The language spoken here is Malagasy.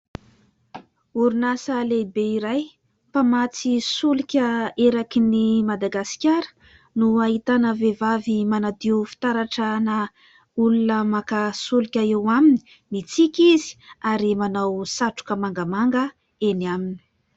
0rinasa lehibe iray mpamatsy solika eraky ny Madagasikara no ahitana vehivavy manadio fitaratra-na olona maka solika eo aminy. Mitsiky izy ary manao satroka mangamanga eny aminy.